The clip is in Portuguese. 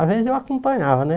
Às vezes eu acompanhava, né?